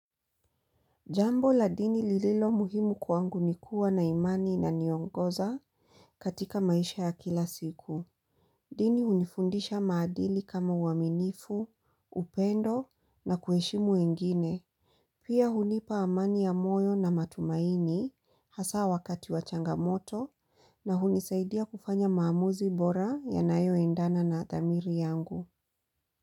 Jambo la dini lililo muhimu kuangu nikuwa na imani inaniongoza katika maisha ya kila siku. Dini hunifundisha maadili kama uaminifu, upendo na kuheshimu wengine. Pia hunipa amani ya moyo na matumaini hasa wakati wa changamoto na hunisaidia kufanya maamuzi bora yanayo endana na dhamiri yangu.